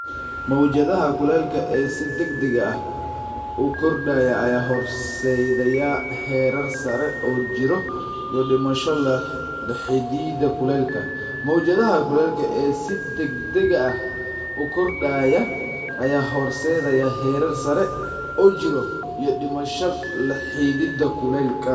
Mowjadaha kulaylka ee si degdega ah u kordhaya ayaa horseedaya heerar sare oo jirro iyo dhimasho la xidhiidha kulaylka. Mowjadaha kulaylka ee si degdega ah u kordhaya ayaa horseedaya heerar sare oo jirro iyo dhimasho la xidhiidha kulaylka.